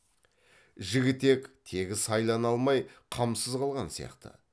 жігітек тегі сайлана алмай қамсыз қалған сияқты